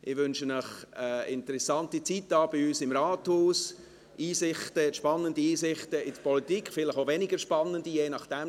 Ich wünsche Ihnen eine interessante Zeit hier bei uns im Rathaus und spannende Einsichten in die Politik – vielleicht auch weniger spannende, je nachdem;